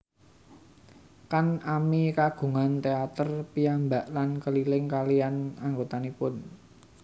Kan ami kagungan teater piyambak lan keliling kaliyan anggotanipun